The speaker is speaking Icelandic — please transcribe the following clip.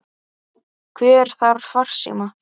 Hver þarf farsíma?